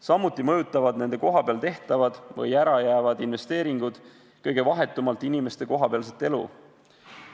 Samuti mõjutavad nende kohapeal tehtavad või ära jäävad investeeringud kõige vahetumalt inimeste kohapealset elu.